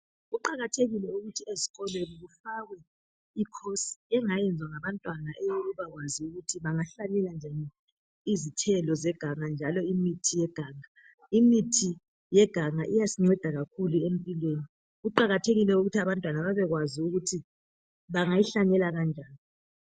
Kuqakathekile ukuthi ezikolweni kufakwe I course engenziwa ngabantwana eyokwazi ukuthi bangahlanyela kunjani izithelo njalo imithi yeganga, imithi yeganga iyasinceda kakhulu empilweni kuqakathekile ukuthi abantwana babekwazi ukuthi bangayihlanyela kanjani.